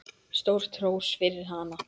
Stórt hrós fyrir hana.